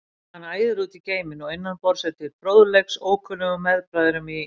Hann æðir út í geiminn og innan borðs er til fróðleiks ókunnum meðbræðrum í